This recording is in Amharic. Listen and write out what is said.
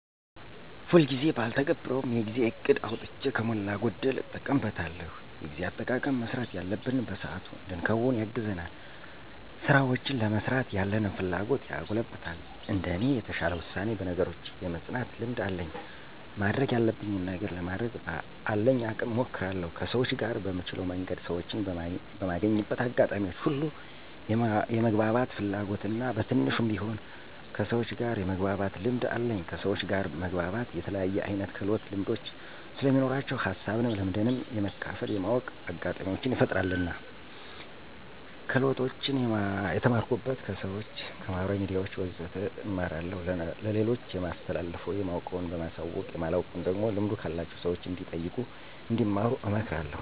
ሁልጊዜ ጊዜ ባልተገብረውም የጊዜ እቅድ አውጥቼ ከሞላ ጎደል እጠቀምበታለሁ። የጊዜ አጠቃቀም መስራት ያለብንን በሰአቱ እንድንከውን ያግዘናል፣ ስራውችን ለመስራት ያለንን ፍላጎት ያጎለብታል። እንደኔ የተሻለ ውሳኔ፣ በነገሮች የመፅናት ልምድ አለኝ ማድረግ ያለብኝን ነገር ለማድረግ በአለኝ አቅም እሞክራለሁ። ከሰውች ጋር በምችለው መንገድ ሰወችን በማገኝበት አጋጣሚዎች ሁሉ የመግባባት ፍላጎት እና በትንሹም ቢሆን ከሰውች ጋር የመግባባት ልምድ አለኝ። ከሰውች ጋር መግባባት የተለያየ አይነት ክህሎቶች ልምዶች ስለሚኖራቸው ሀሳብንም ልምድንም የመካፈል የማወቅ አጋጣሚውችን ይፈጥርልናል። ክህሎቶችን የተማርኩት፦ ከሰውች፣ ከማህበራዊ ሚዲያውች ወዘተ እማራለሁኝ። ለሌሎች የማስተላልፈው የማውቀውን በማሳወቅ የማላውቀውን ደግሞ ልምዱ ካላቸው ሰውች እንዲጠይቁ እንዲማሩ አመክራለሁኝ።